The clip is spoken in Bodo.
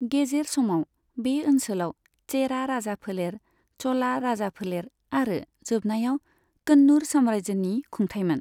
गेजेर समाव, बे ओनसोलाव चेरा राजाफोलेर, च'ला राजाफोलेर आरो जोबनायाव कन्नूर साम्रायजोनि खुंथाइमोन।